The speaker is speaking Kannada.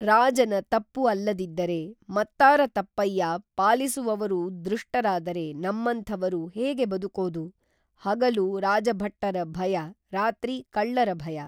ರಾಜನ ತಪ್ಪು ಅಲ್ಲದಿದ್ದರೆ ಮತ್ತಾರ ತಪ್ಪಯ್ಯಾ ಪಾಲಿಸುವವರು ದೃಷ್ಟರಾದರೆ ನಮ್ಮಂಥವರು ಹೇಗೆ ಬದುಕೋದು ಹಗಲು ರಾಜಭಟ್ಟರ ಭಯ ರಾತ್ರಿ ಕಳ್ಳರ ಭಯ